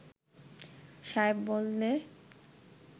সায়েব বললে